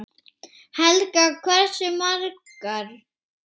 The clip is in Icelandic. Helga: Hversu margar?